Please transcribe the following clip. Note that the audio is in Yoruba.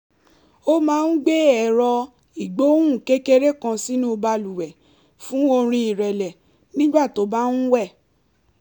ó máa ń gbé ẹ̀rọ ìgbohùn kékeré kan sínú balùwẹ̀ fún orin ìrẹ̀lẹ̀ nígbà tó bá ń wẹ̀